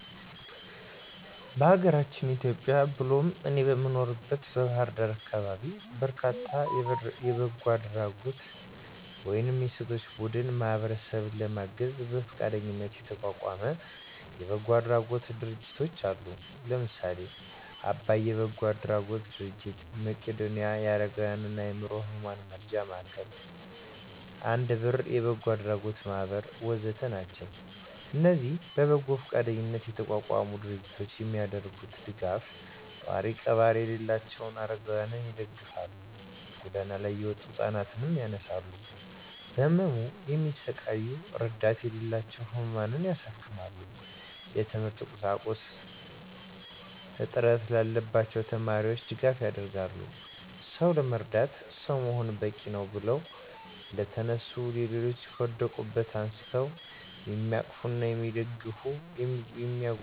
በአገራችን ኢትዮጵያ ብሎም እኔ በምኖርበት በባህር ዳር አካባቢ በርካታ የበጎ አድራጎት ወይም የሴቶች ቡድን ማህበረሰብን ለማገዝ በፈቃደኝነት የተቋቋመ የበጎ አድራጎት ድርጅቶች አሉ። ለምሳሌ :- አባይ የበጎ አድራጎት ድርጅት፣ መቄዶንያ የአረጋውያንና የአዕምሮ ህሙማን መርጃ ማዕከል፣ አንድ ብር የበጎ አድራጎት ማህበር ወ.ዘ.ተ... ናቸው። እነዚህ በበጎ ፈቃደኝነት የተቋቋሙ ድርጅቶች የሚያደርጉት ደጋፍ፣ ጧሪ ቀባሪ የሌላቸውን አረጋውያንን ይደግፋል፣ ጎዳና ላይ የወጡ ህፃናት ያነሳሉ፣ በህመም የሚሰቃዩ እረዳት የሌላቸውን ህሙማን ያሳክማሉ፣ የትምህርት ቁሳቁስ እጥት ላለባቸው ተማሪዎች ድጋፍ ያደርጋሉ። «ሰው ለመርዳት ሰው መሆን በቂነው» ብለው የተነሱ ሌሎችን ከወደቁበት አንስተው የሚያቅፉና የሚደግፉ፤ የሚያጎርሱና የሚያለብሱ ብዙ በጎ አሳቢዎችም ተፈጥረውልናል።